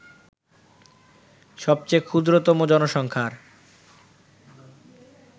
সবচেয়ে ক্ষুদ্রতম জনসংখ্যার